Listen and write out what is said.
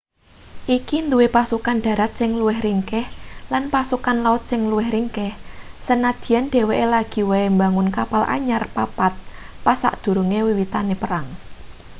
iki duwe pasukan dharat sing luwih ringkih lan pasukan laut sing luwih ringkih sanadyan dheweke lagi wae mbangun kapal anyar papat pas sadurunge wiwitane perang